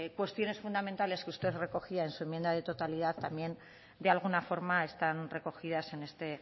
cuestiones fundamentales que usted recogía en su enmienda de totalidad de alguna forma están recogidas en este